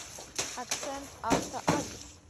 акцент авто адрес